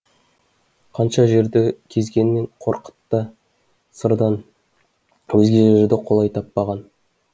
қанша жерді кезгенімен қорқыт та сырдан өзге жерді қолай таппаған